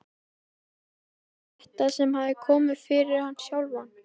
Var það ekki þetta sem hafði komið fyrir hann sjálfan?